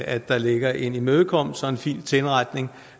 at der ligger en imødekommelse og en fin tilretning